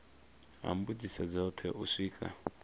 ha mbudziso dzothe u swika